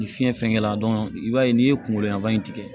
Ni fiɲɛ fɛn kɛla i b'a ye n'i ye kungolo laban in tigɛ